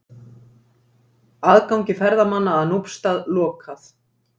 Aðgangi ferðamanna að Núpsstað lokað